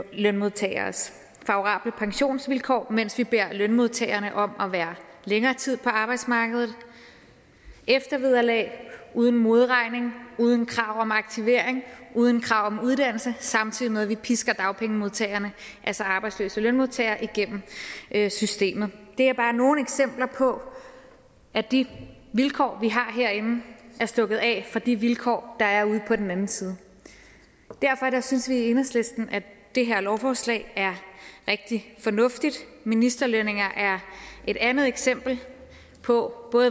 lønmodtageres favorable pensionsvilkår mens vi beder lønmodtagerne om at være længere tid på arbejdsmarkedet eftervederlag uden modregning uden krav om aktivering uden krav om uddannelse samtidig med at vi pisker dagpengemodtagerne altså arbejdsløse lønmodtagere igennem systemet det er bare nogle eksempler på at de vilkår vi har herinde er stukket af fra de vilkår der er ude på den anden side derfor synes vi i enhedslisten at det her lovforslag er rigtig fornuftigt ministerlønninger er et andet eksempel på